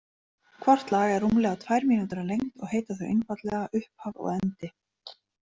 Hvort lag er rúmlega tvær mínútur að lengd og heita þau einfaldlega „Upphaf“ og „Endi“.